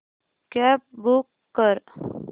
cab book कर